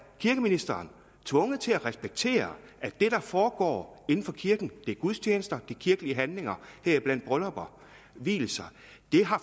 kirkeministeren tvunget til at respektere at det der foregår inden for kirken det er gudstjenester kirkelige handlinger heriblandt bryllupper og vielser